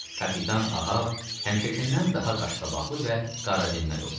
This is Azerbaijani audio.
Kapitan Ahav həmişəkindən daha qaşqabaqlı və qaradinməz olmuşdu.